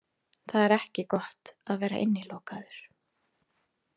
Það er ekki gott að vera innilokaður